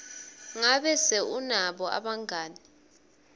ngabe se unabo bangani